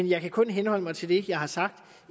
jeg kan kun henholde mig til det jeg har sagt